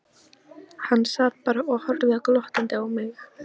Hann sat bara og horfði glottandi á mig.